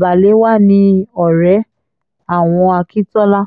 balewa ní ọ̀rẹ́ àwọn akíntola